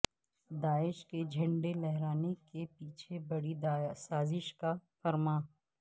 داعش کے جھڈے لہرانے کے پیچھے بڑی سازش کار فرما